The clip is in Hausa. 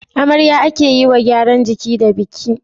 amarya ake yiwa gyaran jiki da biki